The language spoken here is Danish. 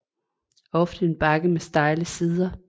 Ofte en bakke med stejle sider